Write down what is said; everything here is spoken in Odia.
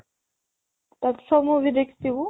ତା ସବୁ movie ଦେଖିଥିବୁ